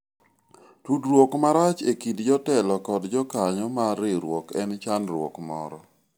tudruok marach ekind jotelo kod jokanyo mar riwruok en chandruok moro